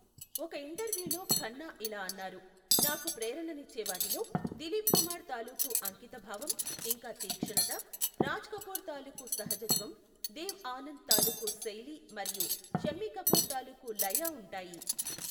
ఒక ఇంటర్వ్యూలో ఖన్నా ఇలా అన్నారు, నాకు ప్రేరణనిచ్చేవాటిలో దిలీప్ కుమార్ తాలూకు అంకితభావం ఇంకా తీక్షణత, రాజ్ కపూర్ తాలూకు సహజత్వం, దేవ్ ఆనంద్ తాలూకు శైలి మరియు షమ్మి కపూర్ తాలూకు లయ ఉంటాయి.